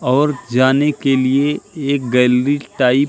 और जाने के लिए एक गैलरी टाइप --